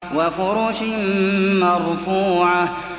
وَفُرُشٍ مَّرْفُوعَةٍ